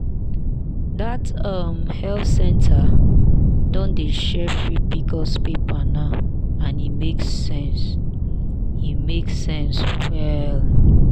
that um health center don dey share free pcos paper now and e make sense e make sense well.